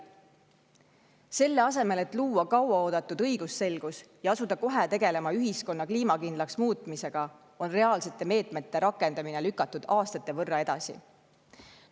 Selle asemel et luua kaua oodatud õigusselgus ja asuda kohe tegelema ühiskonna kliimakindlaks muutmisega, on reaalsete meetmete rakendamine lükatud aastate võrra edasi.